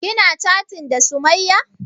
Kina chatin da sumayya?